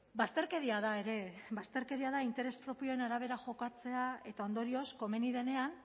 bazterkeria da ere bazterkeria da interes propioen arabera jokatzea eta ondorioz komeni denean